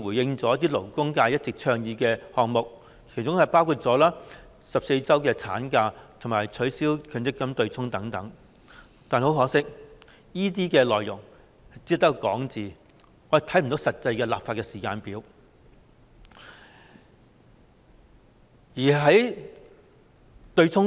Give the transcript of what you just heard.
回應了一些勞工界一直倡議的項目，其中包括14周法定產假及取消強制性公積金對沖等，但很可惜，這些內容只是空談，我們看不到實際的立法時間表。